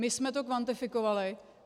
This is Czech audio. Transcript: My jsme to kvantifikovali.